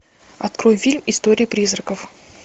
открой фильм истории призраков